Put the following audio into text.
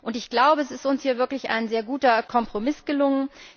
Und ich glaube, es ist uns hier wirklich ein sehr guter Kompromiss gelungen.